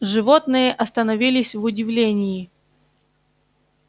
животные остановились в удивлении